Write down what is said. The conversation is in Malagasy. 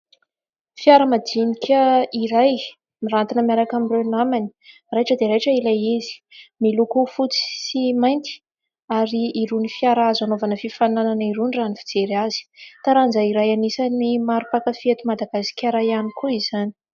Fiara madinika iray miranty miaraka amin'ireo namany. Raitra dia raitra ilay izy. Miloko fotsy sy mainty ary irony fiara azo anaovana fifaninana irony raha ny fijery azy. Taranja iray anisany maro mpankafy eto Madagasikara ihany koa izany.